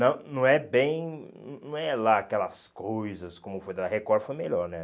Não não é bem... Não não é lá aquelas coisas como foi... Da Record foi melhor, né?